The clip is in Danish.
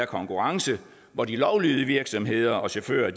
konkurrence hvor de lovlydige virksomheder og chauffører